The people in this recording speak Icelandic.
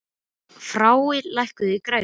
Frár, lækkaðu í græjunum.